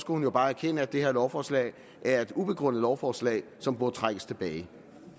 hun jo bare erkende at det her lovforslag er et ubegrundet lovforslag som burde trækkes tilbage